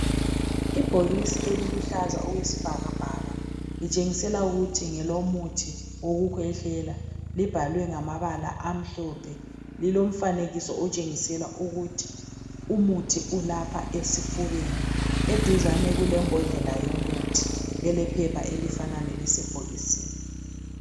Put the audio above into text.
Ibhokisi eliluhlaza okwesibhakabhaka litshengisela ukuthi ngelomuthi owokukhwehlela, libhalwe ngamabala amhlophe lilomfanekiso otshengisela ukuthi umuthi ulapha esifubeni. Eduzane kulembodlela yomuthi elephepha elifana lelisebhokisini.